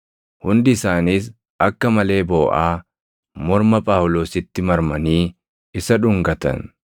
Hundi isaaniis akka malee booʼaa morma Phaawulositti marmanii isa dhungatan.